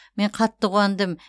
мен қатты қуандым